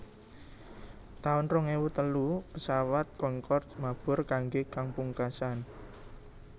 taun rong ewu telu Pesawat Concorde mabur kanggé kang pungkasan